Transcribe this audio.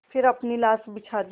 फिर अपनी लाश बिछा दी